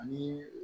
Ani